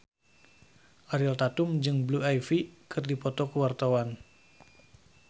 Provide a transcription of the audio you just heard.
Ariel Tatum jeung Blue Ivy keur dipoto ku wartawan